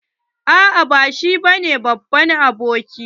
A'a ba shi bane babban aboki.